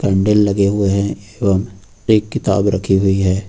Candle लगे हुए हैं और एक किताब रखी हुई है।